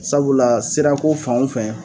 Sabula sira ko fɛn o fɛn